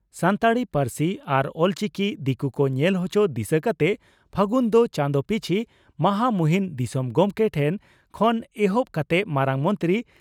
ᱥᱟᱱᱛᱟᱲᱤ ᱯᱟᱹᱨᱥᱤ ᱟᱨ ᱚᱞᱪᱤᱠᱤ ᱫᱤᱠᱩ ᱠᱚ ᱧᱮᱞ ᱦᱚᱪᱚ ᱫᱤᱥᱟᱹ ᱠᱟᱛᱮ ᱯᱷᱟᱹᱜᱩᱱ ᱫᱚ ᱪᱟᱸᱫᱚ ᱯᱤᱪᱷᱤ ᱢᱚᱦᱟᱢᱩᱦᱤᱱ ᱫᱤᱥᱚᱢ ᱜᱚᱢᱠᱮ ᱴᱷᱮᱱ ᱠᱷᱚᱱ ᱮᱦᱚᱵ ᱠᱟᱛᱮ ᱢᱟᱨᱟᱝ ᱢᱚᱱᱛᱨᱤ